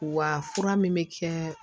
Wa fura min bɛ kɛ